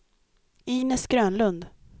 Inez Grönlund